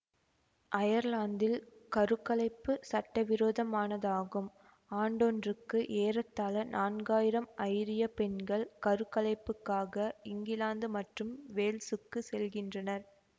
அயர்லாந்தில் கரு கலைப்பு சட்டவிரோதமானதாகும் ஆண்டொன்றுக்கு ஏறத்தாழ நான்காயிரம் ஐரியப் பெண்கள் கருக்கலைப்புக்காக இங்கிலாந்து மற்றும் வேல்சுக்குச் செல்கின்றனர்